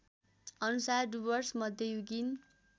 अनुसार डुवर्स मध्ययुगीन